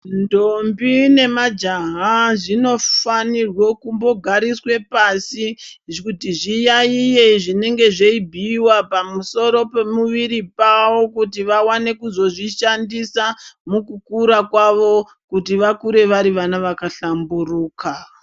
Ndombi nemajaha zvinofanirwe kumbogariswe pashi kuti zviyaiye zvinenge zveibhuyiwa pamusoro pemu viri wavo kuti vaone kuzozvishandisa mukukuma kwavo kuti vakuru vari vana vakahlamburuka.